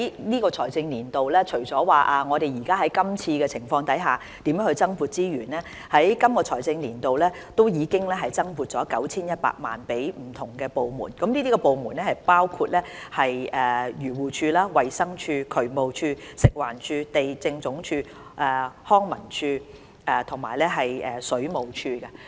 在本財政年度，我們除了研究該如何就今次情況增撥資源外，其實本財政年度已增撥了 9,100 萬元予不同部門，當中包括漁農自然護理署、衞生署、渠務署、食環署、地政總署、康樂及文化事務署和水務署。